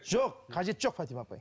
жоқ қажеті жоқ фатима апай